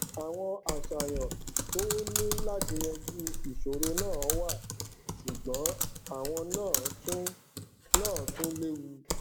àwọn àṣàyàn tó ní láti yanjú ìṣòro náà wà sùgbón àwon náà tún náà tún léwu